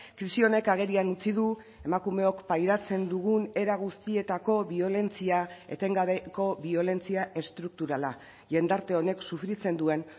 krisi honek agerian utzi du emakumeok pairatzen dugun era guztietako biolentzia etengabeko biolentzia estrukturala jendarte honek sufritzen duen